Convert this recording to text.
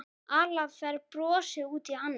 Alfreð brosir út í annað.